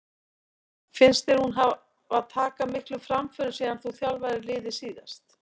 Finnst þér hún hafa taka miklum framförum síðan þú þjálfaðir liðið síðast?